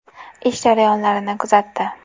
Ish jarayonlarini kuzatdi.